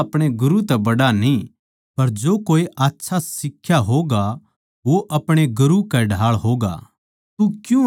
चेल्ला अपणे गुरू तै बड्ड़ा न्ही पर जो कोए आच्छा सिखा होगा वो अपणे गुरू के ढाळ होगा